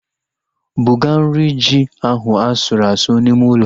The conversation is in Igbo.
Buga nri ji ahu asụrụ asụ n'ime ụlọ